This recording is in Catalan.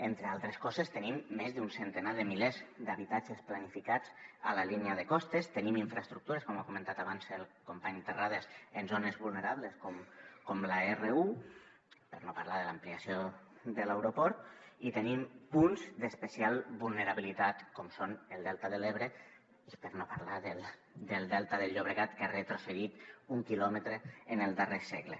entre altres coses tenim més d’un centenar de milers d’habitatges planificats a la línia de costes tenim infraestructures com ha comentat abans el company terrades en zones vulnerables com l’r1 per no parlar de l’ampliació de l’aeroport i tenim punts d’especial vulnerabilitat com són el delta de l’ebre per no parlar del delta del llobregat que ha retrocedit un quilòmetre en el darrer segle